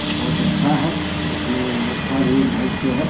और बहुत अच्छा है देखने में व्यवस्था भी ढंग से है|